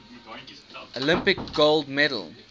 olympic gold medal